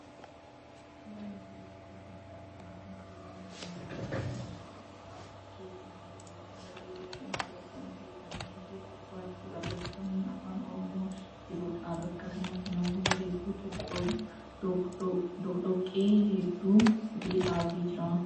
Suuraan nuti bakka kanatti arginu kun suuraa mana nyaataa kan mooraan isaa keessi halluuwwan bareedoo fi hawwatoon guutamee fi gubbaatti barreeffamni afaan oromoon jirudha. Bakka kanatti namoota hedduutu doqdoqqee hedduu fidee dhaabee jira.